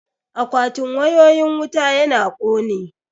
Akwatin wayoyin wuta yana kone